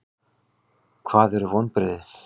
Hvað eru vonbrigði?